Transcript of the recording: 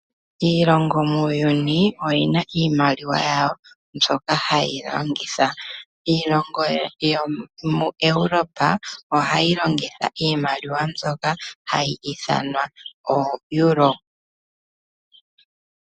Iilongo muuyuni oyina iimaliwa yawo. mbyoka haye yi longith. Iilongo yomoEuropa ohayi longitha iimaliwa mbyoka hayi ithanwa ooEuro.